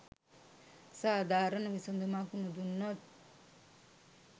සාධාරණ විසඳුමක් නොදුන්නොත්